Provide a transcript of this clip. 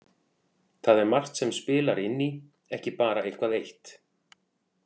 Það er margt sem spilar inn í, ekki bara eitthvað eitt